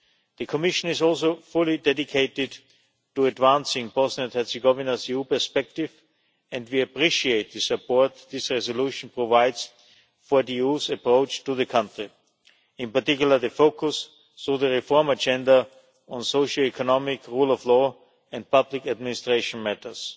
The Commission is also fully dedicated to advancing Bosnia and Herzegovina's EU perspective and we appreciate the support this resolution provides for the EU's approach to the country, in particular the focus, through the reform agenda, on socio economic, rule of law and public administration matters.